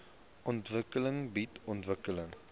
ontwikkeling bied ontwikkeling